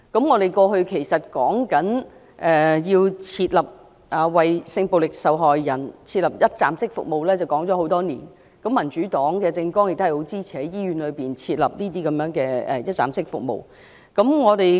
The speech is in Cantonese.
我們提出為性暴力受害人設立一站式服務的建議多年，民主黨的政綱亦支持在醫院設立這類一站式服務中心。